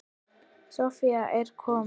Soffía er komin.